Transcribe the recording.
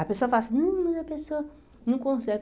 A pessoa fala assim, hum mas a pessoa não consegue.